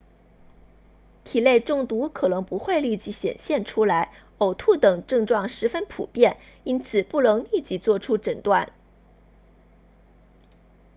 体内中毒可能不会立即显现出来呕吐等症状十分普遍因此不能立即作出诊断